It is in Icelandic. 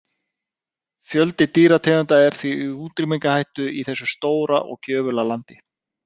Fjöldi dýrategunda er því í útrýmingarhættu í þessu stóra og gjöfula landi.